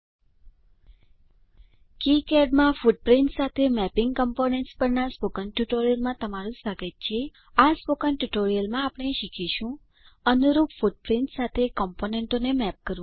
પ્રિય મિત્રો કિકાડ માં ફૂટપ્રિન્ટ્સ સાથે મેપિંગ કમ્પોનન્ટ પરનાં સ્પોકન ટ્યુટોરીયલમાં તમારું સ્વાગત છે આ સ્પોકન ટ્યુટોરીયલમાં આપણે શીખીશું અનુરૂપ ફૂટપ્રિન્ટ્સ સાથે કમ્પોનન્ટો મેપ કરવા